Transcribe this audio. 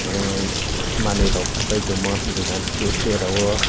ahh manui rok pa pai tongma dugan stay stay rog o.